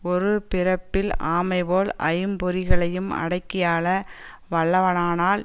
ஒரு பிறப்பில் ஆமைபோல் ஐம்பொறிகளையும் அடக்கியாள வல்லவனானால்